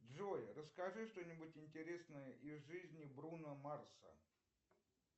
джой расскажи что нибудь интересное из жизни бруно марса